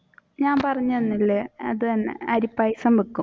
ഞാൻ പറഞ്ഞു തന്നില്ലേ അത് തന്നെ അരിപ്പായസം വെക്കും.